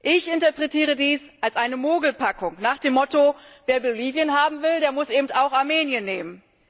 Ich interpretiere dies als eine Mogelpackung nach dem Motto Wer Bolivien haben will, der muss eben auch Armenien nehmen.